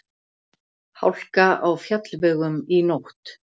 Hálka á fjallvegum í nótt